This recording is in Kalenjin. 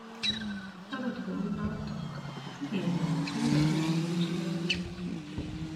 Akot kounotok, si kenyor, koyache kiroch lolet.